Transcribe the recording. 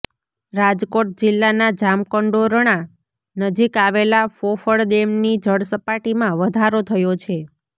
રાજકોટ જિલ્લાના જામકંડોરણા નજીક આવેલા ફોફળ ડેમની જળસપાટીમાં વધારો થયો છે